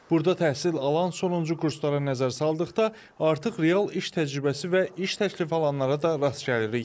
Burda təhsil alan sonuncu kurslara nəzər saldıqda artıq real iş təcrübəsi və iş təklifi alanlara da rast gəlirik.